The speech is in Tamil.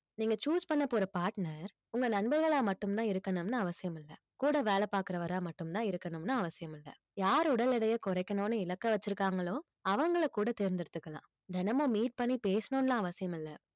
நீங்க choose பண்ண போற partner உங்க நண்பர்களா மட்டும்தான் இருக்கணும்ன்னு அவசியம் இல்லை கூட வேலை பாக்குறவரா மட்டும்தான் இருக்கணும்ன்னு அவசியம் இல்லை யார் உடல் எடையை குறைக்கணும்னு இலக்கை வச்சிருக்காங்களோ அவங்களை கூட தேர்ந்தெடுத்துக்கலாம் தினமும் meet பண்ணி பேசணும்ன்னு எல்லாம் அவசியம் இல்லை